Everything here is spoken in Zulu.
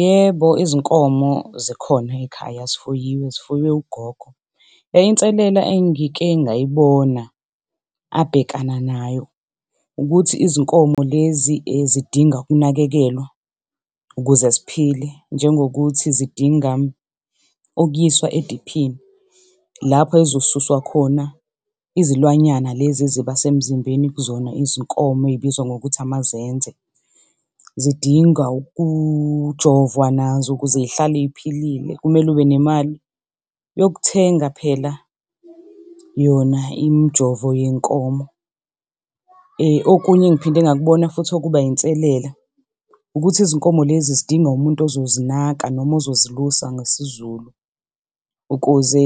Yebo, izinkomo zikhona ekhaya zifuyiwe, zifuywe ugogo. Inselela engike ngayibona abhekana nayo ukuthi izinkomo lezi zidinga ukunakekelwa ukuze ziphile, njengokuthi zidinga ukuyiswa ediphini lapho ezizosuswa khona izilwanyana lezi eziba semzimbeni kuzona izinkomo ey'bizwa ngokuthi amazenze. Zidinga ukujovwa nazo ukuze y'hlale ziphilile, kumele ube nemali yokuthenga phela yona imijovo yey'nkomo. Okunye engiphinde ngakubona futhi okuba inselela ukuthi izinkomo lezi zidinga umuntu ozozinaka noma ozozilusa ngesiZulu ukuze